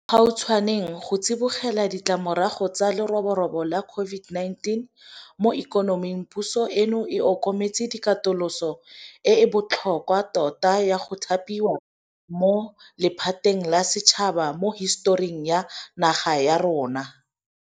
Mo bogautshwaneng, go tsibogela ditlamorago tsa leroborobo la COVID-19 mo ikonoming, puso eno e okametse katoloso e e botlhokwa tota ya go thapiwa mo lephateng la setšhaba mo hisetoring ya naga ya rona.